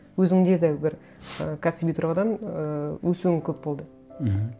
өзіңде де бір і кәсіби тұрғыдан ыыы өсуің көп болды мхм